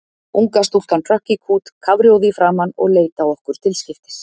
Unga stúlkan hrökk í kút kafrjóð í framan og leit á okkur til skiptis.